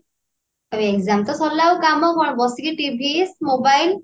ଆରେ exam ତ ସରିଲା ଆଉ କାମ କଣ ବସିକି TV mobile